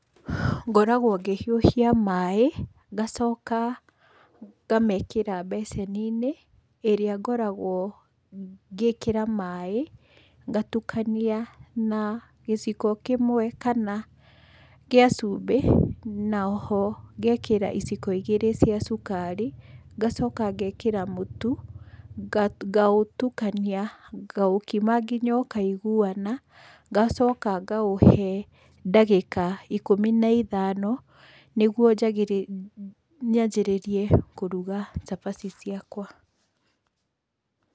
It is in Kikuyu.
Ngoragwo ngĩhiũhia maĩ, ngacoka ngamekĩra mbeceni-inĩ ĩrĩa ngoragwo ngĩkĩra maĩ, ngatukania na gĩciko kĩmwe kana, gĩa cumbĩ, na oho ngekĩra iciko igĩrĩ cia cukari, ngacoka ngekĩra mũtu ngaũtukania ngaũkima nginya ũkaiguana, ngacoka ngaũhe ndagĩka ikũmi na ithano, nĩguo njagĩrĩre nyambĩrĩrie kũruga cabaci ciakwa.